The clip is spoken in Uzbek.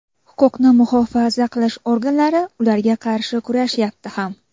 Huquqni muhofaza qilish organlari ularga qarshi kurashyapti ham.